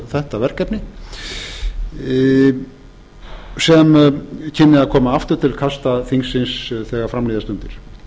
þetta verkefni sem kynni að koma aftur til kasta þingsins þegar fram líða stundir